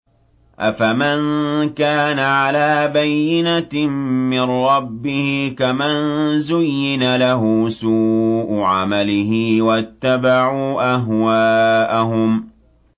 أَفَمَن كَانَ عَلَىٰ بَيِّنَةٍ مِّن رَّبِّهِ كَمَن زُيِّنَ لَهُ سُوءُ عَمَلِهِ وَاتَّبَعُوا أَهْوَاءَهُم